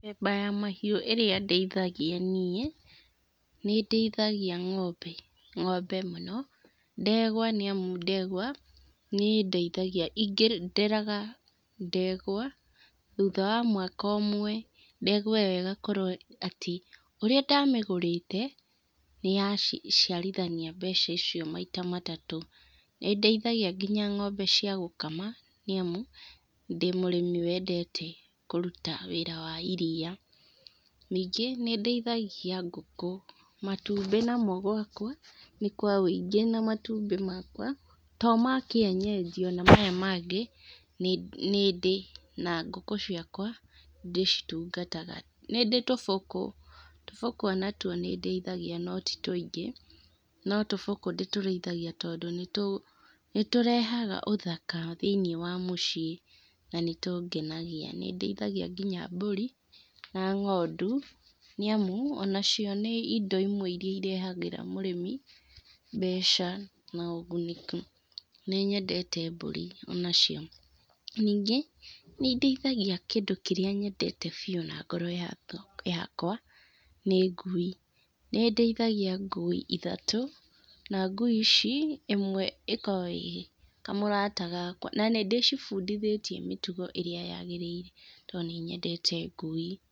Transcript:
Mĩthemba ya mahiũ ĩrĩa ndĩithagia niĩ, nĩndĩithagia ngombe, ngombe mũno, ndegwa nĩamu ndegwa, nĩ indeithagia nderaga ndegwa, thutha wa mwaka ũmwe, ndegwa ĩyo ĩgakorwo atĩ ũrĩa ndamĩgũrĩte, nĩyaciarithania mbeca icio maita matatũ. Nindĩithagia nginya ngombe cia gũkama, nĩamu ndĩ mũrĩmi wendete kũruta wĩra wa iria, nĩngĩ nĩndĩithagia ngũkũ. Matumbĩ namo gwakwa, nĩkwawĩingĩ na matumbĩ makwa, to ma kienyeji ona maya mangĩ, nĩ nĩndĩ, na ngũkũ ciakwa, ndĩcitungataga. Nĩndĩ tũbũkũ, tũbũkũ onatuo nĩndĩithagia no titũingĩ, no tũbũkũ ndĩtũrĩithagia tondũ nĩ nĩtũrehaga ũthaka thinĩ wa mũciĩ, na nĩtũngenagia. Nĩndĩithagia nginya mbũri na ngondu, niamu onacio nĩ indo imwe irehagĩra mũrĩmi mbeca na ũguni. Nĩ nyendete mbũri onacio. Ningĩ, nĩndĩithagia kindũ kĩrĩa nyendete biũ na ngoro yakwa, nĩ ngui. Nĩndĩithagia ngui ithatũ, na ngui ici, ĩmwe ĩkoragwo ĩ kamũrata gakwa, na nindĩcibundithĩtie mĩtugo ĩrĩa yagĩrĩire, tondũ nĩnyendete ngui